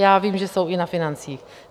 Já vím, že jsou i na financích.